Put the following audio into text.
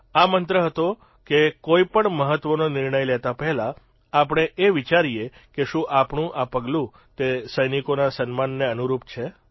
આ મંત્ર હતો કે કોઇપણ મહત્વનો નિર્ણય લેતા પહેલાં આપણે એ વિચારીએ કે શું આપણું આ પગલું તે સૈનિકોના સન્માનને અનુરૂપ છે